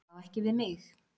Það á ekki við mig.